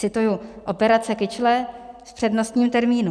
Cituji: operace kyčle v přednostním termínu.